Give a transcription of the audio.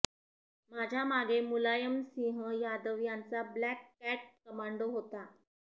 माझ्या मागे मुलायम सिंह यादव यांचा ब्लॅक कॅट कमांडो होता